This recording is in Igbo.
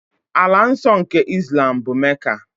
Ala nsọ nke Islam bụ Mecca.